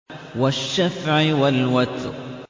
وَالشَّفْعِ وَالْوَتْرِ